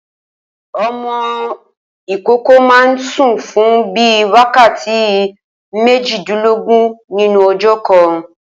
O̩mo̩ ìkókó máa ń sùn fún bíi wákàtí méjìdínlógún nínú o̩jó̩̩ kan